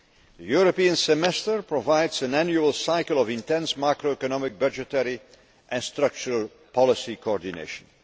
The European Semester provides an annual cycle of intense macroeconomic, budgetary and structural policy coordination.